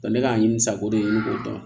ne k'a ɲini sago de ye ne k'o dɔn